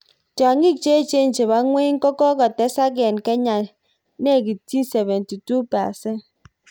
Tyong'iik cheechen chepo ng'eny kokotesak eng Kenya nekitchi 72%